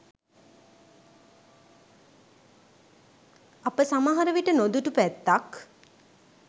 අප සමහරවිට නොදුටු පැත්තක්